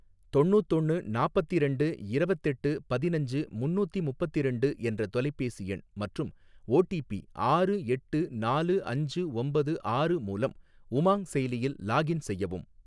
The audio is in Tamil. தொண்ணூத்தொன்னு நாப்பத்திரெண்டு இரவத்தெட்டு பதினஞ்சு முன்னூத்தி முப்பத்திரண்டு என்ற தொலைபேசி எண் மற்றும் ஓடிபி ஆறு எட்டு நாலு அஞ்சு ஒம்பது ஆறு மூலம் உமாங் செயலியில் லாகின் செய்யவும்.